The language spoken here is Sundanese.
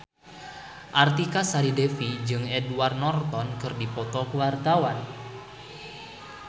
Artika Sari Devi jeung Edward Norton keur dipoto ku wartawan